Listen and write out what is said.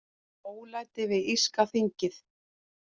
Ólæti við írska þingið